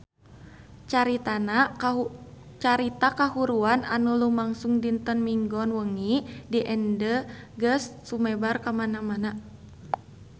Carita kahuruan anu lumangsung dinten Minggon wengi di Ende geus sumebar kamana-mana